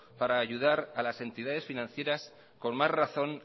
para ayudar a las entidades financieras con más razón